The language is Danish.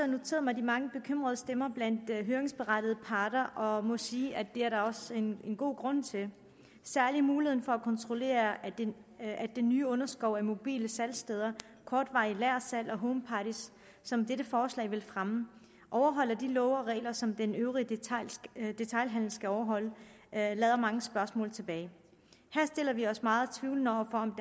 noteret mig de mange bekymrede stemmer blandt høringsberettigede parter og må sige at det er der også en god grund til særlig muligheden for at kontrollere at den nye underskov af mobile salgssteder kortvarigt lagersalg og homeparties som dette forslag vil fremme overholder de love og regler som den øvrige detailhandel skal overholde lader mange spørgsmål tilbage her stiller vi os meget tvivlende over for om